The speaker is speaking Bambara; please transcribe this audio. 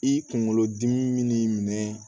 I kunkolo dimi min minɛ